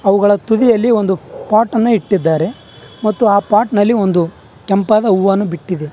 ಅವುಗಳ ತುದಿಯಲ್ಲಿ ಒಂದು ಪಾಟ್ ಅನ್ನು ಇಟ್ಟಿದ್ದಾರೆ ಮತ್ತು ಆ ಪಾಟ್ ನಲ್ಲಿ ಒಂದು ಕೆಂಪಾದ ಹೂವನ್ನು ಬಿಟ್ಟಿದೆ.